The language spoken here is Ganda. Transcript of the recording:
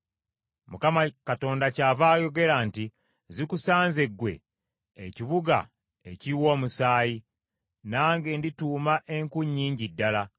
“‘ Mukama Katonda kyava ayogera nti, “ ‘Zikusanze ggwe ekibuga ekiyiwa omusaayi! Nange ndituuma enku nnyingi ddala.